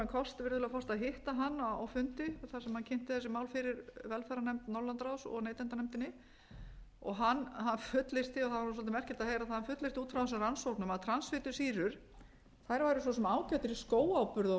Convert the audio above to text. kost virðulegur forseti að hitta hann á fundi þar sem hann kynnti þessi mál fyrir velferðarnefnd norðurlandaráðs og neytendanefndinni hann fullyrti það var svolítið merkilegt að heyra það hann fullyrti út frá þessari rannsóknum að transfitusýrur væru svo sem ágætar í skóáburð og